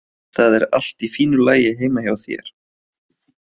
Það er allt í fínu lagi heima hjá þér.